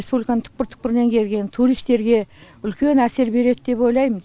республиканың түкпір түкпірінен келген туристерге үлкен әсер береді деп ойлаймын